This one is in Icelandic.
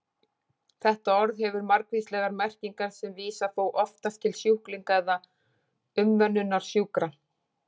Þetta orð hefur margvíslegar merkingar sem vísa þó oftast til sjúklinga eða umönnunar sjúkra.